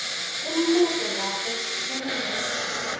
imibuto lapho kunikwe